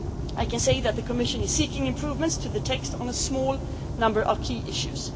of our Legal Service. I can say that the Commission is seeking improvements to the text on a small